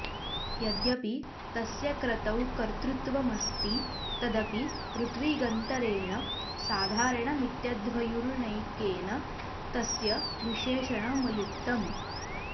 यद्यपि तस्य क्रतौ कर्त्तृत्वमस्ति तदपि ऋत्विगन्तरेण साधारणमित्यध्वर्युणैकेन तस्य विशेषणमयुक्तम्